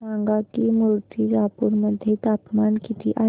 सांगा की मुर्तिजापूर मध्ये तापमान किती आहे